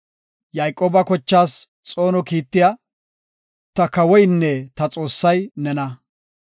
Yayqooba kochaas xoono kiittiya, ta kawoynne ta Xoossay nena.